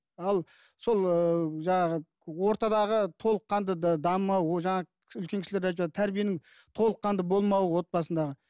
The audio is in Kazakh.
ал сол ыыы жаңағы ортадағы толыққанды дамымау жаңағы үлкен кісілер де айтып жатыр тәрбиенің толыққанды болмауы отбасындағы